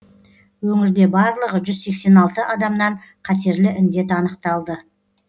өңірде барлығы жүз сексен алты адамнан қатерлі індет анықталды